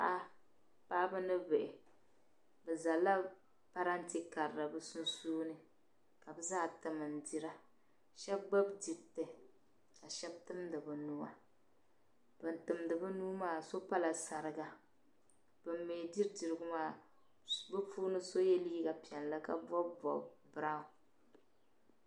Paɣaba ni bihi bi zalila parantɛ karili bɛ sunsuuni ka bi zaa tim n dira shabi gbubi diriti ka shabi timdi bɛ nuhi ban timdi bɛ nuhi maa yinɔ pala sariga ban mi diri dirigu maa bi puuni so ye liiga piɛli ka bɔbi bɔb branw.